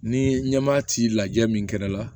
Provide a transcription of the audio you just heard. Ni ɲɛmaa t'i lajɛ min kɛra